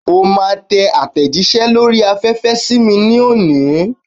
O máa tẹ àtẹ̀jíṣẹ́ lórí afẹ́fẹ́ sí mi ní òní.